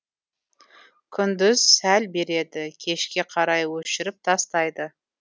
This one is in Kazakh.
күндіз сәл береді кешке қарай өшіріп тастайды